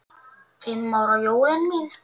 Fimm ára jólin mín.